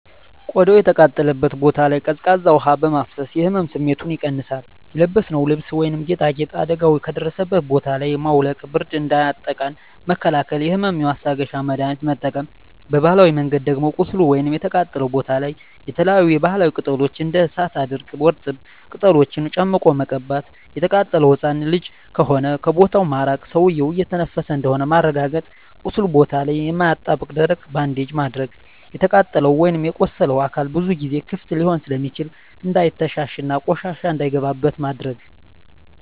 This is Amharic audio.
ቆዳው የተቃጠለበት ቦታ ላይ ቀዝቃዛ ውሀ በማፍሰስ የህመም ስሜቱን ይቀንሳል :የለበስነውን ልብስ ወይም ጌጣጌጥ አደጋው ከደረሰበት ቦታ ላይ ማውለቅ ብርድ እንዳያጠቃን መከላከል የህመም ማስታገሻ መድሀኒት መጠቀም በባህላዊ መንገድ ደም ቁስሉ ወይም የተቃጠለው ቦታ ላይ የተለያዪ የባህላዊ ቅጠሎች እንደ እሳት አድርቅ ወርጠብ ቅጠሎችን ጨምቆ መቀባት። የተቃጠለው ህፃን ልጅ ከሆነ ከቦታው ማራቅ ሰውዬው እየተነፈሰ እንደሆነ ማረጋገጥ ቁስሉ ቦታ ላይ የማያጣብቅ ደረቅ ባንዴጅ ማድረግ። የተቃጠለው ወይም የቆሰለው አካል ብዙ ጊዜ ክፍት ሊሆን ስለሚችል እንዳይተሻሽ እና ቆሻሻ እንዳይገባበት ማድረግ።